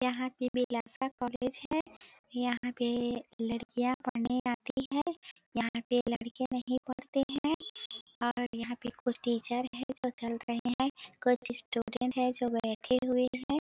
यहाँ की बिलासा कॉलेज हैं यहाँ पे लड़कियाँ पड़ने आती हैं यहाँ पे लड़के नही पड़ते हैं और यहाँ पे कुछ टीचर हैं जो चल रहै हैं कुछ स्टूडेंट है जो बैठे हुए हैं।